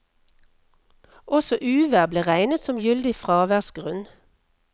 Også uvær ble regnet som gyldig fraværsgrunn.